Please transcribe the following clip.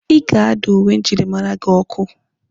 Ị ga-ada uwe njirimara gị ọkụ!